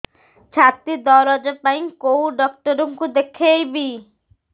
ଛାତି ଦରଜ ପାଇଁ କୋଉ ଡକ୍ଟର କୁ ଦେଖେଇବି